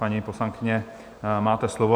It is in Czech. Paní poslankyně, máte slovo.